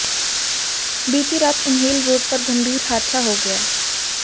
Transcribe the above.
बीती रात उन्हेल रोड पर गंभीर हादसा हो गया